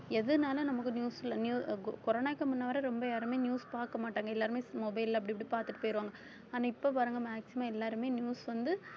எதுனால நமக்கு news ல ne~ corona வுக்கு முன்னால ரொம்ப யாருமே news பார்க்க மாட்டாங்க எல்லாருமே mobile ல அப்படி இப்படி பார்த்துட்டு போயிடுவாங்க ஆனா இப்ப பாருங்க maximum எல்லாருமே news வந்து